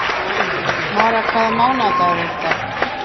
Mara, hvaða mánaðardagur er í dag?